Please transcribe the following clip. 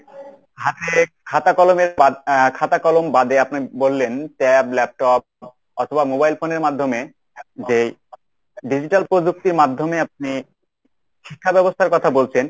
হাতে খাতা কলমের বাদ আহ খাতা কলম বাদে আপনে বললেন tab, laptop অথবা mobile phone এর মাধ্যমে যেই digital প্রযুক্তির মাধ্যমে আপনি শিক্ষাব্যবস্থার কথা বলছেন